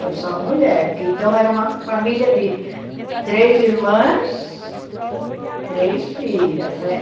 Foi só mulher, porque então era uma família de três irmãs, três filhas, né?